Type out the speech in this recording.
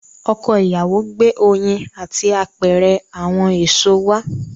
Ọkọ ìyàwó gbé oyin àti apẹ̀rẹ̀ àwọn èṣò wá.